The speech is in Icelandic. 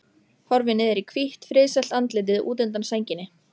Horfir niður í hvítt, friðsælt andlitið útundan sænginni.